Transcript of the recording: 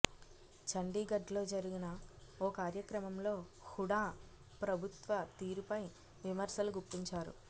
చండీగఢ్లో జరిగిన ఓ కార్యక్రమంలో హుడా ప్రభుత్వ తీరుపై విమర్శలు గుప్పించారు